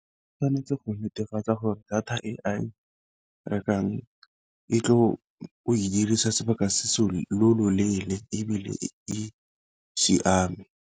Ke tshwanetse go netefatsa gore data e a e rekang e tlo go e diriswa sebaka se se loleele ebile e siame.